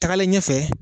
Tagalen ɲɛfɛ